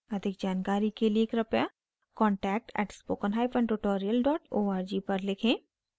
अधिक जानकारी के लिए कृपया contact at spoken hyphen tutorial dot org पर लिखें